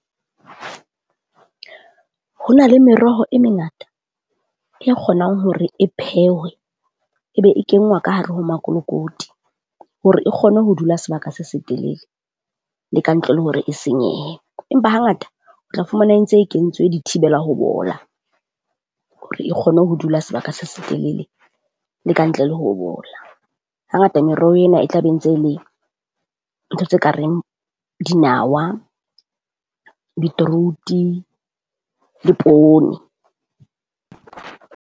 Ho na le meroho e mengata e kgonang hore e phehwe, e be e kengwa ka hare ho makolokoti hore e kgone ho dula sebaka se setelele. Le ka ntle le hore e senyehe. Empa hangata o tla fumana e ntse e kentswe di thibela ho bola, hore e kgone ho dula sebaka se setelele le ka ntle le ho bola. Hangata meroho ena e tla be ntse e le ntho tse ka reng dinawa beetroot-e le poone.